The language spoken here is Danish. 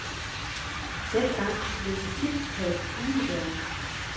Dengang blev de tit kaldt umoderne.